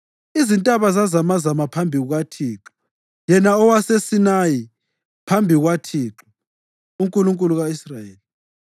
Izintaba zazamazama phambi kukaThixo, yena owaseSinayi, phambi kukaThixo, uNkulunkulu ka-Israyeli.